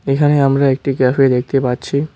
এখানে আমরা একটি ক্যাফে দেখতে পাচ্ছি।